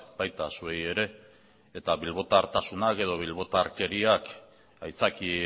baita zuei ere eta bilbotartasunak edo bilbortakeriak aitzaki